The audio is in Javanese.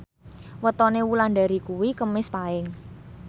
wetone Wulandari kuwi Kemis Paing